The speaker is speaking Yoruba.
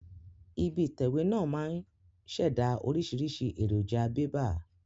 Ibi ìtẹ̀wé náà máa ń ṣẹ̀dá oríṣiríṣi èròjà bébà